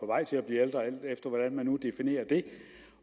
vej til at blive ældre alt efter hvordan man nu definerer det